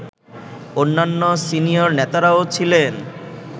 অন্যান্য সিনিয়র নেতারাও ছিলেন